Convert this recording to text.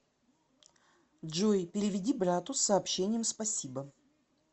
джой переведи брату с сообщением спасибо